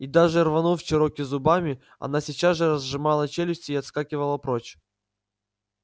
и даже рванув чероки зубами она сейчас же разжимала челюсти и отскакивала прочь